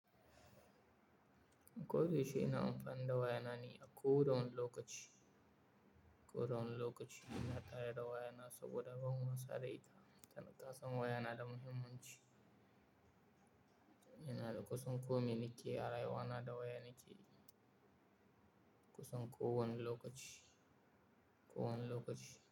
Ko yaushe ina amfani da waya nane a ko da wani lokaci. Ko da wani lokaci. Ina tare da waya na saboda ban wasa da ita. Tana kasancewaya na da muhimmanci. Ina da kusan komai nake arayuwana da waya nake yi. Kusan ko wani lokaci, ko wane lokaci.